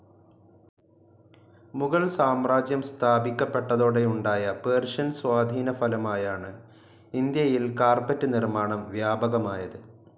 മുഗൾ സാമ്രാജ്യം സ്ഥാപിക്കപ്പെട്ടതോടെയുണ്ടായ പേർഷ്യൻ സ്വാധീന ഫലമായാണ് ഇന്ത്യയിൽ കാർപെറ്റ്‌ നിർമ്മാണം വ്യാപകമായത്.